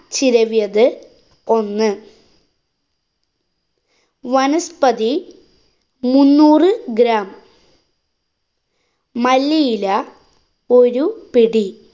ചിരവിയത് ഒന്ന്. വനസ്പതി മുന്നൂറു gram മല്ലിയില ഒരു പിടി.